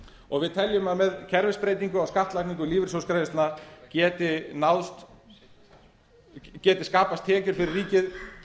og við teljum að með kerfisbreytingu á skattlagningu lífeyrissjóðsgreiðslna geti skapast tekjur fyrir ríkið